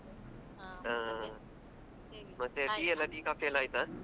ಮತ್ತೆ tea coffee ಎಲ್ಲಾ ಆಯ್ತಾ?